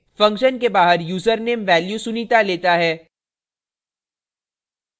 function के बाहर username value sunita लेता है